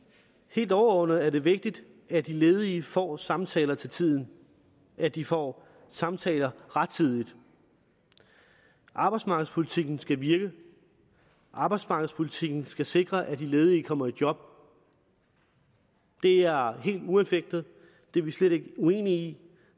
helt overordnet er det vigtigt at de ledige får samtaler til tiden at de får samtaler rettidigt arbejdsmarkedspolitikken skal virke arbejdsmarkedspolitikken skal sikre at de ledige kommer i job det er helt uanfægtet det er vi slet ikke uenige i